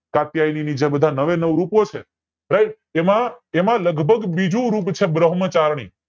જે બધા નવે નવ રૂપો છે તેમાં તેમાં લગભગ બીજું રૂપ છે બ્રહ્મચારણી